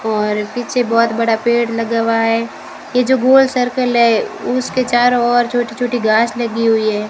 और पीछे बहोत बड़ा पेड़ लगा हुआ है ये जो गोल सर्कल है उसके चारों ओर छोटी छोटी घास लगी हुई है।